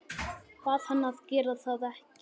Bað hann að gera það ekki.